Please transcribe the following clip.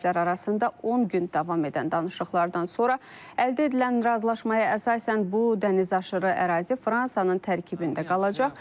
Tərəflər arasında 10 gün davam edən danışıqlardan sonra əldə edilən razılaşmaya əsasən bu dənizaşırı ərazi Fransanın tərkibində qalacaq.